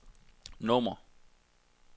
nummer